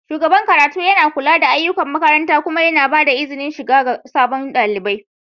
shugaban karatun yana kula da ayyukan makaranta kuma yana ba da izinin shiga ga sabon ɗalibi